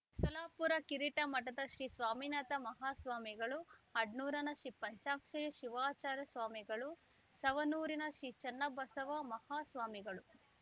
ಸೋಲಾಪೂರ ಕಿರಿಟಮಠದ ಶ್ರೀ ಸ್ವಾಮಿನಾಥ ಮಾಹಾಸ್ವಾಮಿಗಳು ಅಡ್ನೂರನ ಶ್ರೀ ಪಂಚಾಕ್ಷೆರಿ ಶಿವಾಚಾರ್ಯ ಸ್ವಾಮಿಗಳು ಸವನೂರಿನ ಶ್ರೀ ಚನ್ನಬಸವ ಮಾಹಾಸ್ವಾಮಿಗಳು